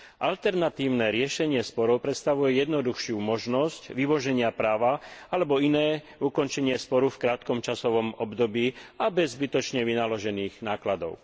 Alternatívne riešenie sporov predstavuje jednoduchšiu možnosť vymoženia práva alebo iné ukončenie sporu v krátkom časovom období, a to bez zbytočne vynaložených nákladov.